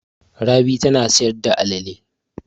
Rabi tana sayar da alale.